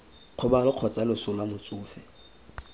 kgobalo kgotsa loso lwa motsofe